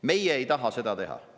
Meie ei taha seda teha.